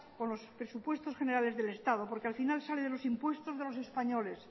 con los presupuestos generales del estado porque al final sale de los impuestos de los españoles